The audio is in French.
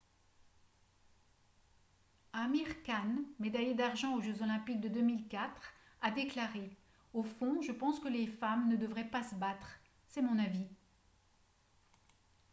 amir khan médaillé d'argent aux jeux olympiques de 2004 a déclaré :« au fond je pense que les femmes ne devraient pas se battre. c'est mon avis. »